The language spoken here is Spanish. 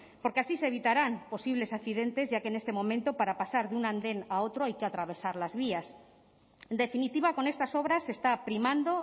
porque así se evitarán posibles accidentes ya que en este momento para pasar de un andén a otro hay que atravesar las vías en definitiva con estas obras se está primando